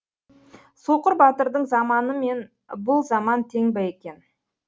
соқыр батырдың заманы мен бұл заман тең екен